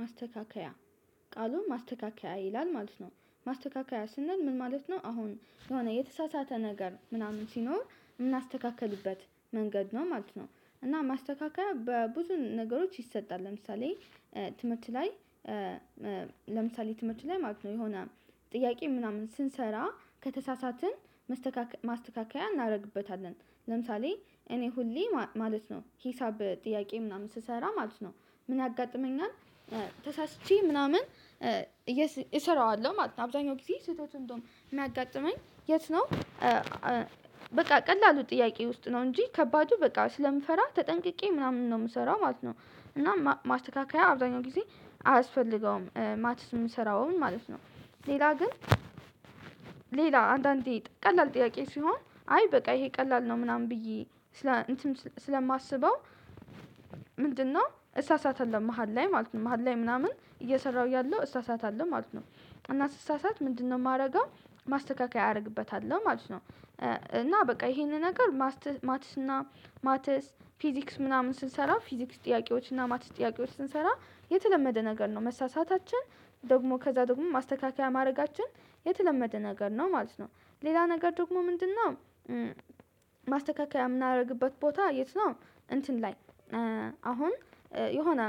ማስተካከያ ቃሉን ማስተካከያ ይላል ማለት ነው። ማስተካከያ ስንል ምን ማለት ነው? አሁን የሆነ የተሳሳተ ነገር ምናምን ሲኖር የምናስተካክልበት መንገድ ነው ማለት ነው። እና ማስተካከያ በብዙ ነገሮች ይሰጣል ለምሳሌ። ትምህርት ላይ። ለምሳሌ ትምህርት ላይ ማለት ነው የሆነ ጥያቄ ምናምን ስንሰራ ከተሳሳትን ማስተካከያ እናደርግበታለን። ለምሳሌ እኔ ሁሌ ማለት ነው ሂሳብ ጥያቄ ምናምን ስሰራ ማለት ነው። ምን ያጋጥመኛል? ተሳስቼ ምናምን እሰራዋለሁ ማለት ነው። አብዛኛው ጊዜ ስህተቱን እንደውም የሚያጋጥመኝ የት ነው? በቃ ቀላሉ ጥያቄ ውስጥ ነው እንጂ ከባዱ በቃ ስለምፈራ ተጠንቅቄ ምናምን ነው የምሰራው ማለት ነው። እና ማስተካከያ አብዛኛው ጊዜ አያስፈልገውም ማትስ የምሰራውን ምን ማለት ነው። ሌላ ግን ሌላ አንዳንዴ ቀላል ጥያቄ ሲሆን አይ በቃ ይሄ ቀላል ነው ምናምን ብዬ ስለማስበው። ምንድነው እሳሳታለሁ መሃል ላይ ማለት ነው መሃል ላይ ምናምን እየሰራሁ ያለው እሳሳታለሁ ማለት ነው። እና ስሳሳት ምንድነው የማደርገው? ማስተካከያ አደርግበታለሁ ማለት ነው። እና በቃ ይሄንን ነገር ማትስ ማትስ እና ማትስ ፊዚክስ ምናምን ስንሰራ ፊዚክስ ጥያቄዎች እና ማትስ ጥያቄዎች ስንሰራ የተለመደ ነገር ነው መሳሳታችን ደግሞ ከዛ ደግሞ ማስተካከያ ማድረጋችን የተለመደ ነገር ነው ማለት ነው። ሌላ ነገር ደግሞ ምንድነው? ማስተካከያ የምናደርግበት ቦታ የት ነው? እንትን ላይ አሁን የሆነ